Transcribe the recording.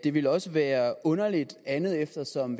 det ville også være underligt andet eftersom